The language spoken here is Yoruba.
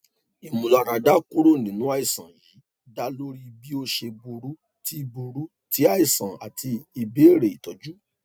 imularada kuro ninu aisan yii da lori bi o ṣe buru ti buru ti aisan ati ibẹrẹ itọju